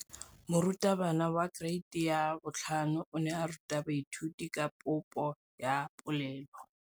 Moratabana wa kereiti ya 5 o ne a ruta baithuti ka popô ya polelô.